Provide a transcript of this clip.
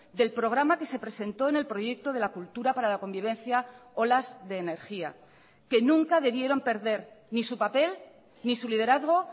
del programa que se presentó en el proyecto de la cultura para la convivencia olas de energía que nunca debieron perder ni su papel ni su liderazgo